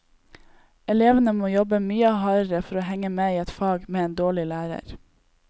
Elevene må jobbe mye hardere for å henge med i et fag med en dårlig lærer.